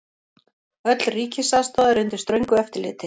Öll ríkisaðstoð er undir ströngu eftirliti.